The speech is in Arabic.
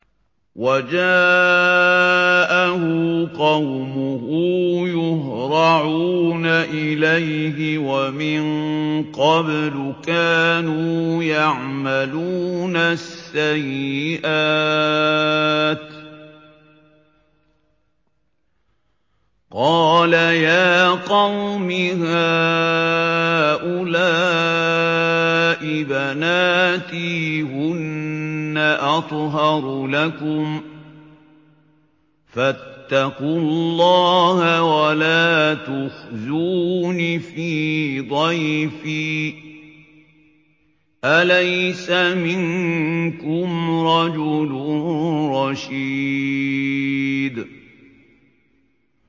وَجَاءَهُ قَوْمُهُ يُهْرَعُونَ إِلَيْهِ وَمِن قَبْلُ كَانُوا يَعْمَلُونَ السَّيِّئَاتِ ۚ قَالَ يَا قَوْمِ هَٰؤُلَاءِ بَنَاتِي هُنَّ أَطْهَرُ لَكُمْ ۖ فَاتَّقُوا اللَّهَ وَلَا تُخْزُونِ فِي ضَيْفِي ۖ أَلَيْسَ مِنكُمْ رَجُلٌ رَّشِيدٌ